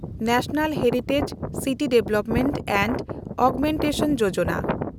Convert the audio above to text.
national Heritage City Development and Augmentation Yojana